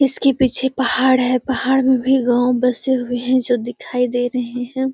इसके पीछे पहाड़ है पहाड़ में भी गांव बसे हुए हैं जो दिखाई दे रहे हैं।